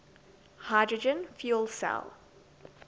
hydrogen fuel cell